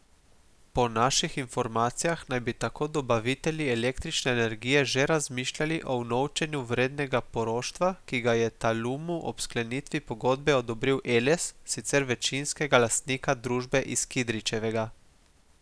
Po naših informacijah naj bi tako dobavitelji električne energije že razmišljali o unovčenju vrednega poroštva, ki ga je Talumu ob sklenitvi pogodbe odobril Eles, sicer večinskega lastnika družbe iz Kidričevega.